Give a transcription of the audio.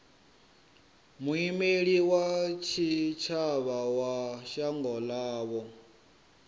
muimeli wa tshitshavha wa shango ḽavho